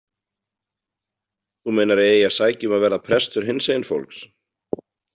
Þú meinar að ég eigi að sækja um að verða prestur hinsegin fólks